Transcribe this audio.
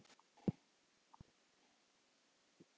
Hver er fáanlegur?